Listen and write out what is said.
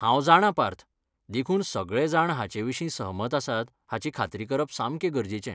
हांव जाणां पार्थ, देखून सगळेजाण हाचेविशीं सहमत आसात हाची खात्री करप सामकें गरजेचें.